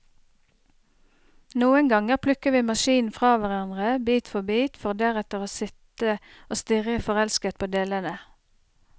Noen ganger plukker vi maskinen fra hverandre, bit for bit, for deretter å sitte og stirre forelsket på delene.